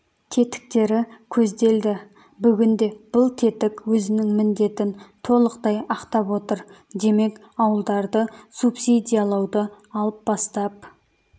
тетіктері көзделді бүгінде бұл тетік өзінің міндетін толықтай ақтап отыр демек ауылдарды субсидиялауды алып бастап